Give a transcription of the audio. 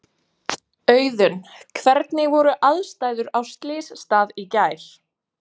Auðunn, hvernig voru aðstæður á slysstað í gær?